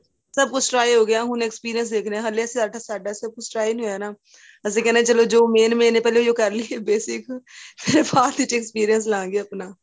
ਸਭ ਕੁੱਛ try ਹੋਏਗਾ ਹੁਣ experience ਦੇਖਦੇ ਹਾਂ ਹਲੇ ਸਾਡਾ ਸਾਡਾ ਸਭ ਕੁੱਛ try ਨਹੀਂ ਹੋਇਆ ਨਾ ਅਸੀਂ ਕਹਿਣੇ ਹਾਂ ਜੋ main main ਪਹਿਲੇ ਉਹੀ ਹੋ ਕਰ ਲਈਏ basic ਫ਼ਿਰ ਬਾਅਦ ਵਿੱਚ experience ਲਵਾਗੇ ਆਪਣਾ